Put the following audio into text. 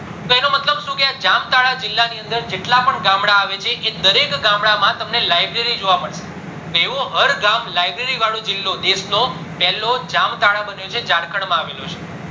કે આ જામતાલા જીલ્લા ની અંદર જેટલા પણ ગામડા આવે છે દરેક ગામડા માં તમને library જોવા મળશે તો એવું હર ગ્રામ library વાળો જીલ્લો દેશ નો પેલો જામતાલા જીલ્લો જારખંડ માં આવે ળો છે